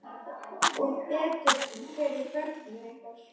Og betur fyrir börnin ykkar.